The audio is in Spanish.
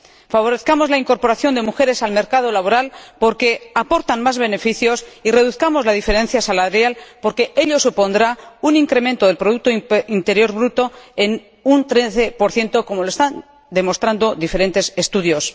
Favorezcamos la incorporación de mujeres al mercado laboral, porque aportan más beneficios, y reduzcamos la diferencia salarial, porque ello supondrá un incremento del producto interior bruto de un 13 como lo están demostrando diferentes estudios.